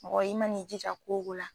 Mɔgɔ i ma n'i jija ko o ko la